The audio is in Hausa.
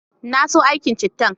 Na so aikin cittan